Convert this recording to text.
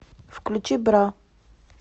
включи бра